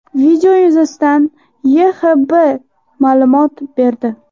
Video yuzasidan YHXBB ma’lumot berdi .